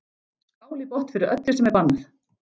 Skál í botn fyrir öllu sem er bannað!